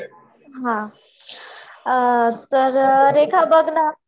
हा तर रेखा बघ ना